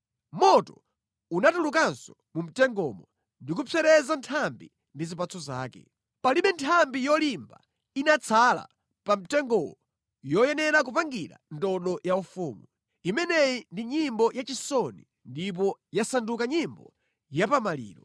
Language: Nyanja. Moto unatulukanso mu mtengomo ndi kupsereza nthambi ndi zipatso zake. Palibe nthambi yolimba inatsala pa mtengowo yoyenera kupangira ndodo yaufumu. Imeneyi ndi nyimbo yachisoni ndipo yasanduka nyimbo ya pa maliro.’ ”